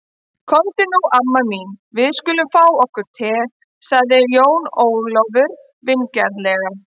Komdu nú amma mín, við skulum fá okkur te, sagði Jón Ólafur vingjarnlega.